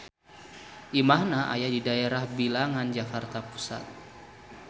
Imahna aya di daerah Bilangan Jakarta Pusat.